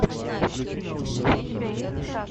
включи научную фантастику